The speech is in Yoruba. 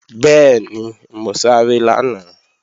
Bẹ́ẹ̀ni, mo sáré lánàá